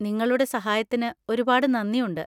നിങ്ങളുടെ സഹായത്തിന് ഒരുപാട് നന്ദിയുണ്ട്.